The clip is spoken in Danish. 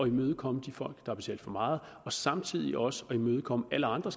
imødekomme de folk der har betalt for meget og samtidig også imødekomme alle andre